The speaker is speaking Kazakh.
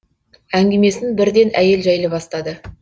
әңгімесін бірден әйел жайлы бастады